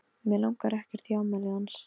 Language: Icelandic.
Mig langar ekkert í afmælið hans.